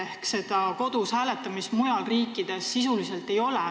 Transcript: Ehk seda kodus hääletamist mujal riikides sisuliselt ei ole.